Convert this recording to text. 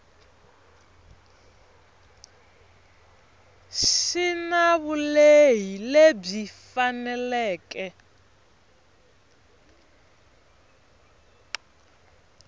xi na vulehi lebyi faneleke